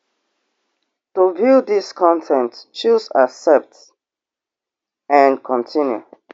to view dis con ten t choose accept and continue